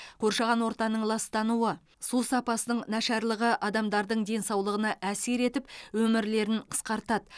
қоршаған ортаның ластануы су сапасының нашарлығы адамдардың денсаулығына әсер етіп өмірлерін қысқартады